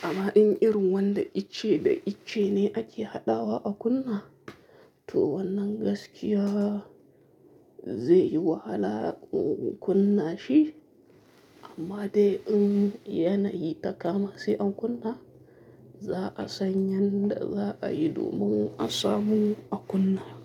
amma in irin wanda ice da ice ne ake haɗawa a kunna, to wannan gaskiya zai yi wahala in kunna shi. Amma dai in yana yi takama shi an kunna, za a sanya da za a yi domin asamu a kunna.